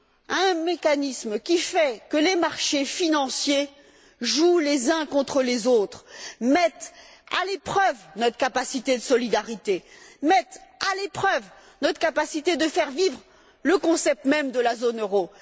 À un mécanisme qui fait que les marchés financiers jouent les uns contre les autres, mettent à l'épreuve notre capacité de solidarité, mettent à l'épreuve notre capacité à faire vivre le concept même de zone euro.